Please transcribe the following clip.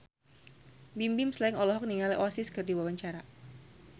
Bimbim Slank olohok ningali Oasis keur diwawancara